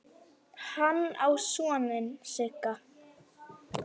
Hann á soninn Sigga.